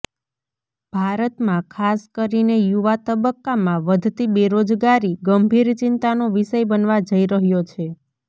ભારતમાં ખાસ કરીને યુવા તબક્કામાં વધતી બેરોજગારી ગંભીર ચિંતાનો વિષય બનવા જઈ રહ્યો છે